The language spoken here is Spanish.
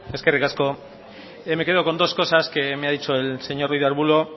eskerrik asko me quedo con dos cosas que me ha dicho el señor ruiz de arbullo